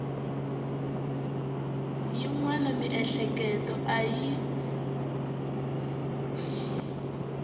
yin wana miehleketo a yi